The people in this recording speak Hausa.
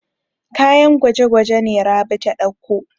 Kayan gwaje-gwaje ne Rabi ta ɗauko.